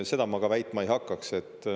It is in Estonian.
Seda ma ka väitma ei hakkaks.